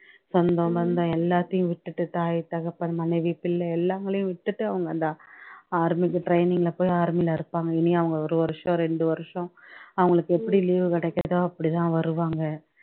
சொந்தம், பந்தம், எல்லாத்தையும் விட்டுட்டு தாய், தகப்பன், மனைவி, பிள்ளை எல்லாங்களையும் விட்டுட்டு அவங்க அந்த ஆ army க்கு training லே போய் army லே இருப்பாங்க இனி அவங்க ஒரு வருஷம் ரெண்டு வருஷம் அவங்களுக்கு எப்படி leave கிடைக்குதோ அப்படிதான் வருவாங்க